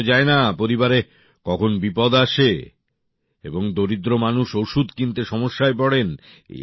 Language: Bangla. বলা তো যায় না পরিবারে কখন বিপদ আসে এবং দরিদ্র মানুষ ওষুধ কিনতে সমস্যায় পড়েন